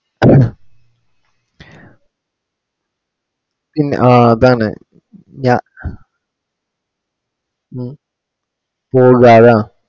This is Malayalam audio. പിന്നെ ആ അതാണ് ഞ